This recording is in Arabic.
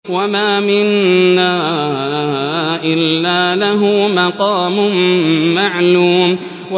وَمَا مِنَّا إِلَّا لَهُ مَقَامٌ مَّعْلُومٌ